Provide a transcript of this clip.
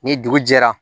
Ni dugu jɛra